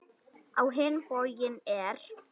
Á hinn bóginn er